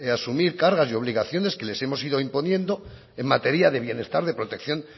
asumir cargas y obligaciones que les hemos ido imponiendo en materia de bienestar de protección